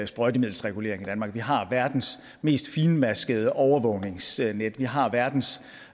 sprøjtemiddelsregulering i danmark vi har verdens mest fintmaskede overvågningsnetværk vi har verdens